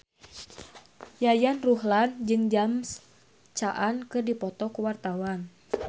Yayan Ruhlan jeung James Caan keur dipoto ku wartawan